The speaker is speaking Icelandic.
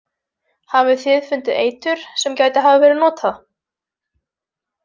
Hafið þið fundið eitur sem gæti hafa verið notað?